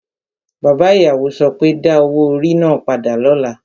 Bàbá ìyàwó so pé, Da owó orí náà padà lọ́la!